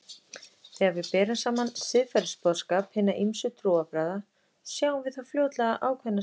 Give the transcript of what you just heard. Þegar við berum saman siðferðisboðskap hinna ýmsu trúarbragða sjáum við þó fljótlega ákveðnar samsvaranir.